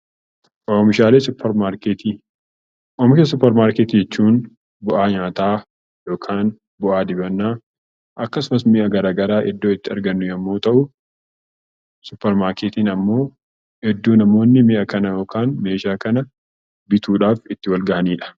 Oomisha suuparmaarketii jechuun bu'aa nyaataa yookaan bu'aa dibannaa akkasumas mi'a garaa garaa iddoo itti argannu yommuu ta'u, suuparmaarketiin ammoo iddoo namoonni mi'a kana yookaan meeshaa kana bituudhaaf itti wal ga'anidha.